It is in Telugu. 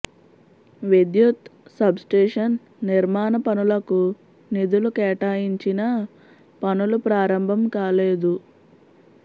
విద్యుత్ సబ్స్టేషన్ నిర్మాణ పనులకు నిధులు కేటాయించినా పనులు ప్రారంభం కాలేదు